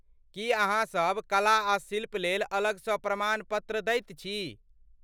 की अहाँसब कला आ शिल्प लेल अलगसँ प्रमाणपत्र दैत छी?